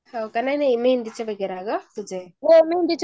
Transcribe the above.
या मेंदीच्या बागेत ग तुज्या ?